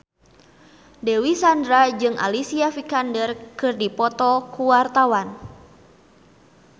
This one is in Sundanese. Dewi Sandra jeung Alicia Vikander keur dipoto ku wartawan